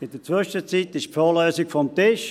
In der Zwischenzeit ist die Fondslösung vom Tisch.